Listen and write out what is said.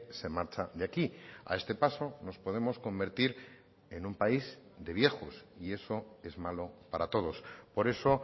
se marcha de aquí a este paso nos podemos convertir en un país de viejos y eso es malo para todos por eso